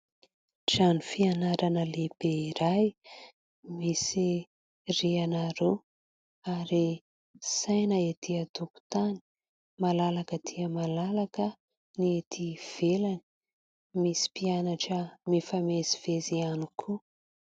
Trano fianarana lehibe iray misy rihana roa ary saina ety antokontany ; malalaka dia malalaka ny ety ivelany ; misy mpianatra mifamezivezy ihany koa.